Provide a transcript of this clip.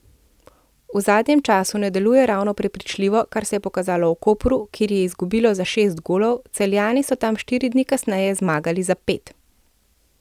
V zadnjem času ne deluje ravno prepričljivo, kar se je pokazalo v Kopru, kjer je izgubilo za šest golov, Celjani so tam štiri dni kasneje zmagali za pet.